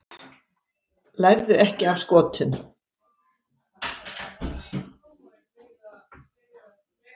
Lærðu ekki af Skotum